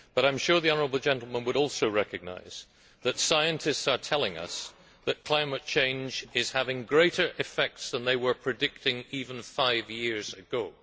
However, I am sure the honourable gentleman would also recognise that scientists are telling us that climate change is having greater effects than they were predicting even five years ago.